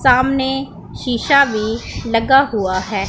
सामने शीशा भी लगा हुआ है।